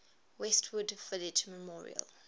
westwood village memorial